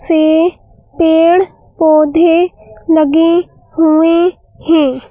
से पेड़ पौधे लगे हुए है।